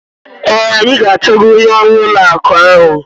Ee, anyị ga-achọga onye ọrụ ụlọ akụ ahụ.